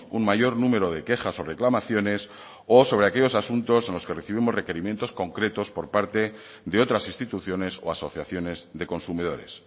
un mayor número de quejas o reclamaciones o sobre aquellos asuntos en los que recibimos requerimientos concretos por parte de otras instituciones o asociaciones de consumidores